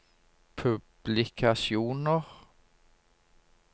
publikasjoner